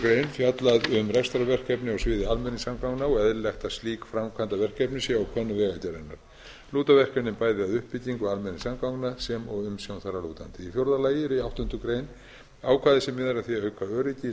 fjallað um rekstrarverkefni á sviði almenningssamgangna og eðlilegt að slík framkvæmdaverkefni séu á könnu vegagerðarinnar lúta verkefnin bæði að uppbyggingu almenningssamgangna sem og umsjón þar að lútandi í fjórða lagi er í áttundu grein ákvæði sem miðar að því að auka öryggi í